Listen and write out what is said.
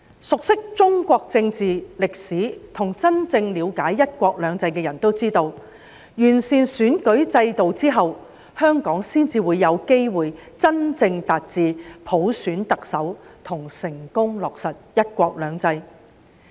熟悉中國政治、歷史，以及真正了解"一國兩制"的人都知道，完善選舉制度後，香港才有機會真正達致普選特首及成功落實"一國兩制"。